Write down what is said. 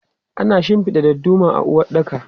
Ana shinfida dadduma a uwaɗɗaka.